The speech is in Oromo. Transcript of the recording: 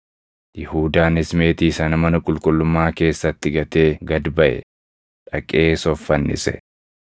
Yihuudaanis meetii sana mana qulqullummaa keessatti gatee gad baʼe; dhaqees of fannise.